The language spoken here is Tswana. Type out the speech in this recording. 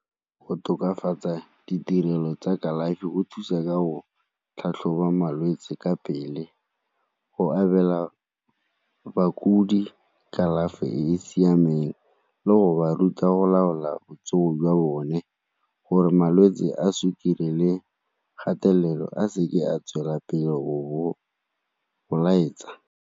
Go tokafatsa ditirelo tsa kalafi go thusa ka go tlhatlhoba malwetse ka pele, go abela bakudi kalafi e e siameng emeng le go ba ruta go laola botsogo jwa bone gore malwetse a sukiri le kgatelelo a seke a tswelela pele go laetsa.